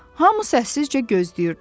Hamı səssizcə gözləyirdi.